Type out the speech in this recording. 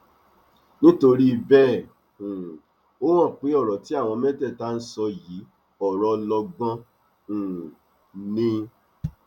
nítorí bẹẹ um ó hàn pé ọrọ tí àwọn mẹtẹẹta ń sọ yìí ọrọ ọlọgbọn um ni